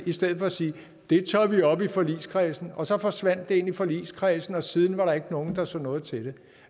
i stedet for at sige det tager vi op i forligskredsen og så forsvandt det ind i forligskredsen og siden var der ikke nogen der så noget til det